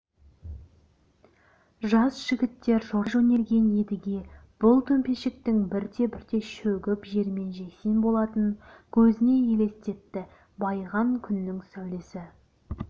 жас жігіттер жорта жөнелген едіге бұл төмпешіктің бірте-бірте шөгіп жермен-жексен болатынын көзіне елестетті байыған күннің сәулесі